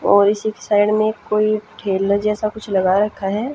और इसी की साइड में कोई ठेला जैसा कुछ लगा रखा है।